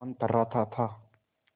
पवन थर्राता था